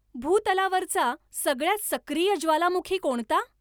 भूतलावरचा सगळ्यात सक्रीय ज्वालामुखी कोणता